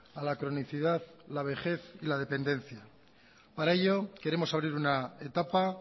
a la cronicidad la vejez y la dependencia para ello queremos abrir una etapa